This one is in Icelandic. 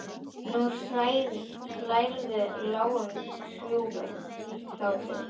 Nú hlærðu, lágum hrjúfum hlátri.